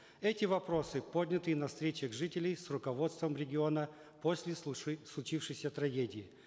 эти вопросы подняты и на встречах жителей с руководством региона после случившейся трагедии